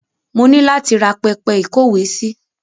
Mo ni láti ra pẹpẹ ìkówèésí.